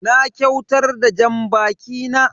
Na kyautar da janbaki na.